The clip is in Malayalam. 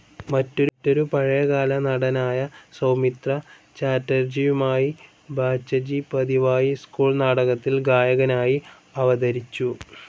മറ്റൊരു പഴയ കാല നടനായ സൗമിത്ര ചാറ്റർജിയുമായി ബാച്ചജി പതിവായി സ്കൂൾ നാടകത്തിൽ ഗായകനായി അവതരിച്ചു.